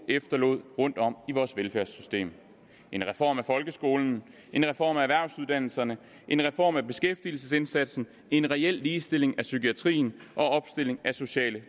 efterlod rundtom i vores velfærdssystem en reform af folkeskolen en reform af erhvervsuddannelserne en reform af beskæftigelsesindsatsen en reel ligestilling af psykiatrien og opstilling af sociale